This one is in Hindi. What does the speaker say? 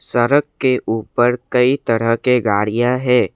सड़क के ऊपर कई तरह के गाड़ियां है।